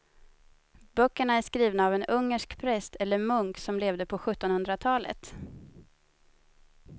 Böckerna är skrivna av en ungersk präst eller munk som levde på sjuttonhundratalet.